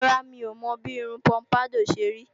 Rárá, mi ò mọ bí irun pọ́mpádọ̀ ṣe rí